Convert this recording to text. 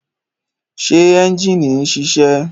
Ṣé ẹ́njìnì ń ṣiṣẹ́?